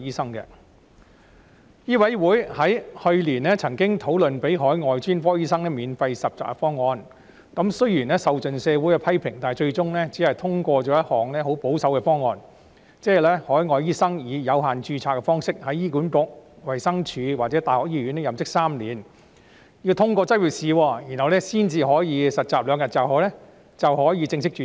香港醫務委員會去年曾經討論豁免海外專科醫生實習安排的方案，雖然受盡社會批評，但最終只是通過一項十分保守的方案，即是海外醫生以有限度註冊的方式在醫管局、衞生署或大學醫學院任職3年，通過執業資格試後便可以正式註冊。